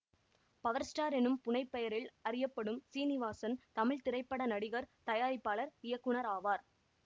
power star எனும் புனைப்பெயரில் அறியப்படும் சீனிவாசன் தமிழ்த்திரைப்பட நடிகர் தயாரிப்பளர் இயக்குனராவார்